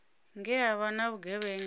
nge ha vha na vhugevhenga